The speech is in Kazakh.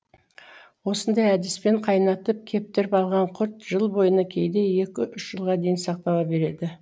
осындай әдіспен қайнатып кептіріп алған құрт жыл бойына кейде екі үш жылға дейін сақтала береді